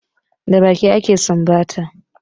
Da baki ake sumbata